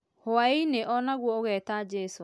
Hwaĩ-inĩ o naguo ũgeta jesũ